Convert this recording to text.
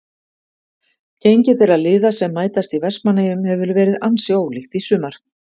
Gengi þeirra liða sem mætast í Vestmannaeyjum hefur verið ansi ólíkt í sumar.